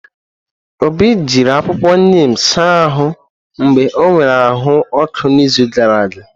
Obi jiri akwụkwọ neem saa ahụ mgbe ọ nwere ahụ ọkụ n'izu gara aga.